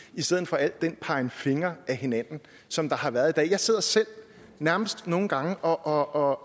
i stedet for al den pegen fingre ad hinanden som der har været i dag jeg sidder selv nærmest nogle gange og